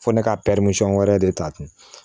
Fɔ ne ka wɛrɛ de ta ten